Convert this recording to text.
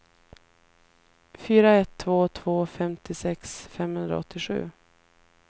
fyra ett två två femtiosex femhundraåttiosju